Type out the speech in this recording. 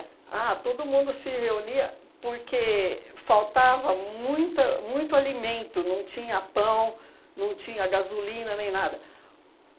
Ah, todo mundo se reunia porque faltava muita muito alimento, não tinha pão, não tinha gasolina nem nada.